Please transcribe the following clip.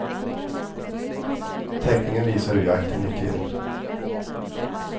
Teckningen visar hur jakten gick till.